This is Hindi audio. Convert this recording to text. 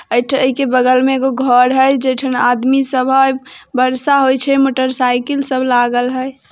ऐठ ऐइ के बगल में एगो घर हाई जेठन आदमी सब हाई बर्षा होय छे मोटर साइकिल सब लागल हाई।